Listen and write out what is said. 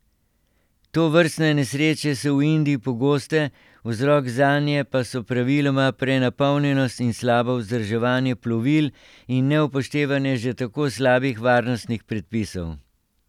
Tovrstne nesreče so v Indiji pogoste, vzrok zanje pa so praviloma prenapolnjenost in slabo vzdrževanje plovil in neupoštevanje že tako slabih varnostnih predpisov.